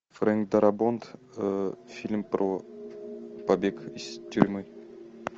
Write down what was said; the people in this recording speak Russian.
фрэнк дарабонт фильм про побег из тюрьмы